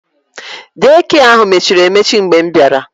Dei kịe ahụ mechiri emechi mgbe m bịara